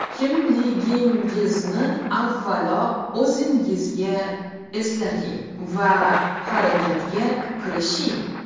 Kimligingizni avvalo o‘zingizga eslating va harakatga kirishing!